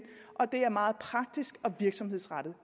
og det er meget praktisk og virksomhedsrettet